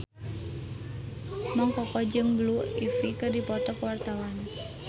Mang Koko jeung Blue Ivy keur dipoto ku wartawan